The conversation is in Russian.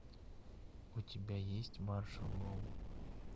у тебя есть маршалл лоу